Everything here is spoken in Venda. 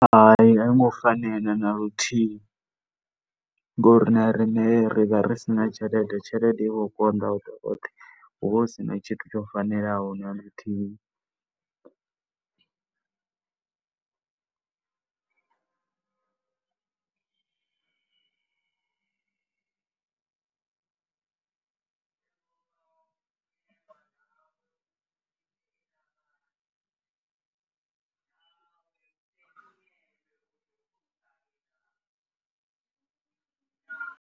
Hai, a yo ngo fanela na luthihi ngori na riṋe ri vha ri si na tshelede, tshelede i vho konḓa . Hu vha hu si na tshithu tsho fanelaho na luthihi.